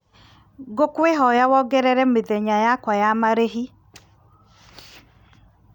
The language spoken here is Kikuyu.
ngũkwĩhoya wongerere mĩthenya yakwa ya marĩhi